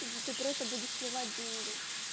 мм ты просто будешь сливать деньги